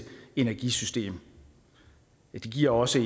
energisystem giver også